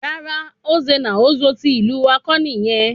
Rara, Nze na Ozo tí ìlú wá kọ́ nìyẹn